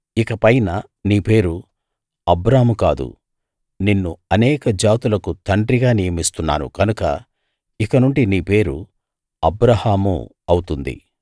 ఇకపైన నీ పేరు అబ్రాము కాదు నిన్ను అనేక జాతులకు తండ్రిగా నియమిస్తున్నాను కనుక ఇకనుండి నీ పేరు అబ్రాహాము అవుతుంది